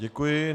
Děkuji.